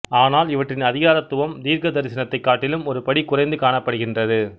ஆனால் இவற்றின் அதிகாரத்துவம் தீர்க்கதரிசனத்தை காட்டிலும் ஒரு படி குறைந்து காணப்படுகின்றது